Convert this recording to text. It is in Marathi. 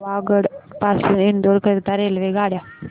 पावागढ पासून इंदोर करीता रेल्वेगाड्या